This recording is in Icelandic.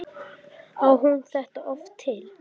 Á hún þetta oft til?